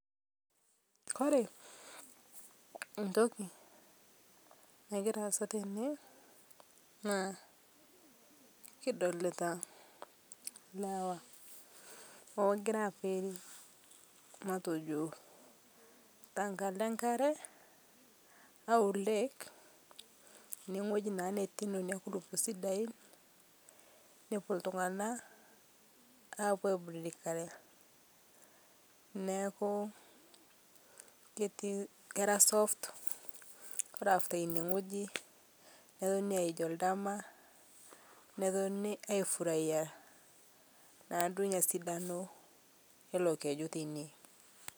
Ore entoki nagira asaa tene naa kidolita lewa ogira abik tenkalo enkare aa lake nepuo iltung'ana apuo aiburudikare neeku ketii kera soft ore after enewueji nepuonu aij oldama netooni aifurahia naa enasidano elo keju teine